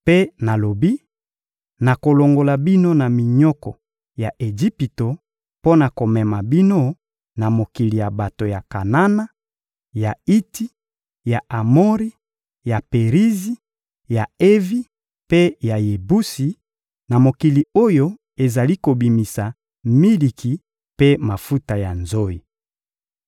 Mpe nalobi: «Nakolongola bino na minyoko ya Ejipito mpo na komema bino na mokili ya bato ya Kanana, ya Iti, ya Amori, ya Perizi, ya Evi mpe ya Yebusi, na mokili oyo ezali kobimisa miliki mpe mafuta ya nzoyi.»